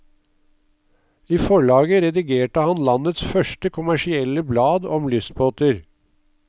I forlaget redigerte han landets første kommersielle blad om lystbåter.